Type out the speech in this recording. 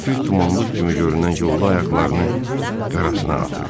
Həfif dumanlıq kimi görünən yolda ayaqlarını qarasına atırdı.